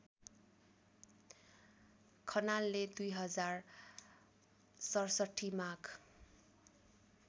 खनालले २०६७ माघ